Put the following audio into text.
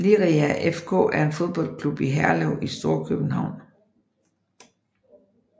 Liria FK er en fodboldklub i Herlev i Storkøbenhavn